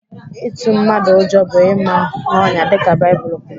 Ịtụ mmadụ ụjọ bụ ịma n'ọnyà dịka Baịbụl kwuru.